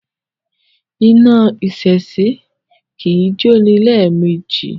Iná èsìsì kì í jóni lẹ́ẹ̀mejì